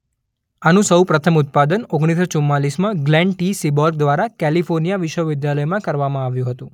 આનું સૌ પ્રથમ ઉત્પાદન ઓગણીસ સો ચુમ્માલીસમાં ગ્લેન ટી સીબોર્ગ દ્વારા કેલિફોર્નિયા વિશ્વવિદ્યાલયમાં કરવામાં આવ્યું હતું.